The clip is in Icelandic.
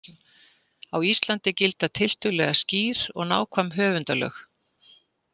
Á Íslandi gilda tiltölulega skýr og nákvæm höfundalög.